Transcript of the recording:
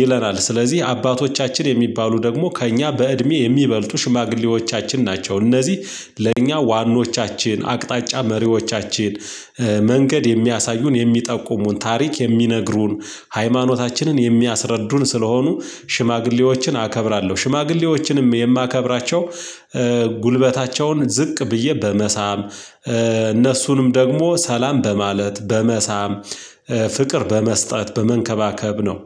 ይለናል። ስለዚህ አባቶቻችን የሚባሉ ደግሞ ከእኛ በእድሜ የሚበልጡ ሽማግሌዎቻችን ናቸው። እነዚህ ለእኛ ዋኖቻችን አቅጣጫ መሪዎቻችን መንገድ የሚያሳዩን የሚጠቁሙን ታሪክ የሚነግሩን ሃይማኖታችንን የሚያስረዱን ስለሆኑ ሽማግሌዎችን አከብራለሁ፤ ሽማግሌዎችንም የማከብራቸው ጉልበታቸውን ዝቅ ብዬ በመሳም፣ እነሱንም ደግሞ ሰላም በማለት፣ በመሳም፣ ፍቅር በመስጠት፣ በመንከባከብ ነው።